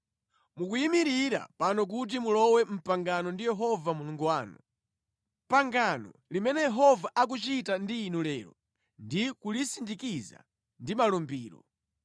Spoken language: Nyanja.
Mukuyimirira pano kuti mulowe mʼpangano ndi Yehova Mulungu wanu, pangano limene Yehova akuchita ndi inu lero ndi kulisindikiza ndi malumbiro,